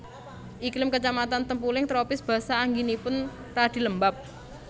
Iklim kecamatan Tempuling tropis basah anginipun radi lembab